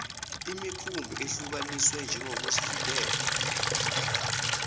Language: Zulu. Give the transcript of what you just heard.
imikhumbi ehlukaniswe njengezokuvikela